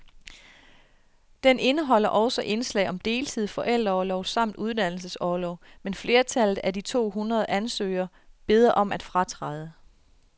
Den indeholder også forslag om deltid, forældreorlov samt uddannelsesorlov, men flertallet af de to hundrede ansøgere beder om at fratræde.